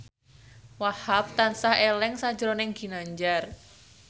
Wahhab tansah eling sakjroning Ginanjar